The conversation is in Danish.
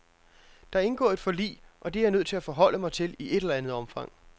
Der er indgået et forlig, og det er jeg nødt til at forholde mig til i et eller andet omfang.